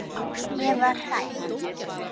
Ég var hrædd.